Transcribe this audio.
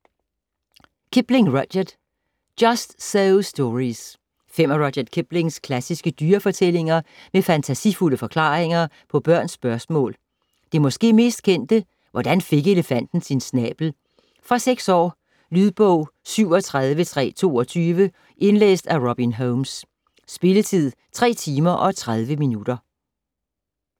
Kipling, Rudyard: Just so stories Fem af Rudyard Kiplings klassiske dyrefortællinger med fantasifulde forklaringer på børns spørgsmål. Det måske mest kendte: "Hvordan elefanten fik sin snabel". Fra 6 år. Lydbog 37322 Indlæst af Robin Holmes. Spilletid: 3 timer, 30 minutter.